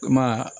Kuma